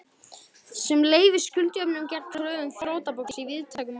sem leyfir skuldajöfnuð gegn kröfum þrotabús í víðtækum mæli.